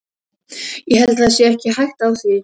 Ég held það sé ekki hætta á því.